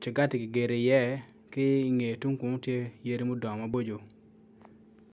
cangati kigedo iye ki ingeye tung kunu tye yadi ma odongo maboco.